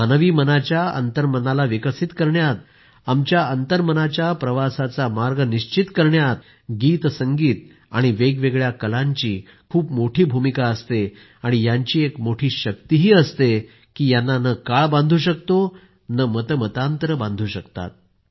मानवी मनाच्या अंतर्मनाला विकसित करण्यात आमच्या अंतर्मनाच्या प्रवासाचा मार्ग निश्चित करण्यातही गीतसंगीत आणि वेगवेगळ्या कलांची खूप मोठी भूमिका असते आणि यांची एक मोठी शक्ति ही असते की यांना न काळ बांधू शकतो नं मतमतांतरे बांधू शकतात